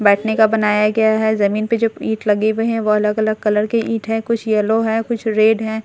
बैठने का बनाया गया है जमीन पे जो ईंट लगे हुए हैं वो अलग-अलग कलर के ईंट है कुछ येलो है कुछ रेड है।